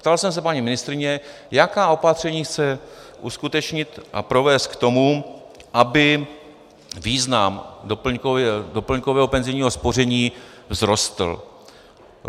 Ptal jsem se paní ministryně, jaká opatření chce uskutečnit a provést k tomu, aby význam doplňkového penzijního spoření vzrostl.